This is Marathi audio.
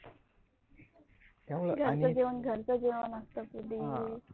घरच जेवण घरच जेवण असत प्रदी